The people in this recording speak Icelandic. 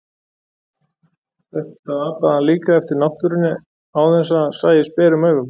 Þetta apaði hann líka eftir náttúrunni án þess að það sæist berum augum.